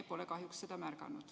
Me pole kahjuks seda märganud.